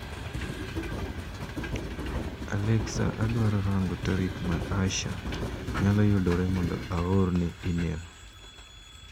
Alexa adwaro rang'o tarik ma Aasha nyalo yudore mondo aorne imel.